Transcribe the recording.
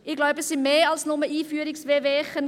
Ich glaube, es waren mehr als nur Einführungs-Wehwehchen.